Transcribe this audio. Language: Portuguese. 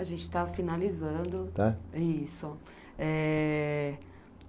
A gente está finalizando, tá? isso.